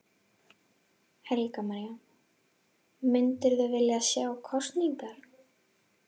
Helga María: Myndirðu vilja sjá kosningar?